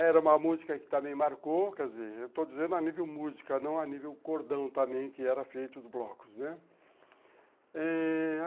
Era uma música que também marcou, quer dizer, eu estou dizendo a nível música, não a nível cordão também, que eram feitos os blocos, né?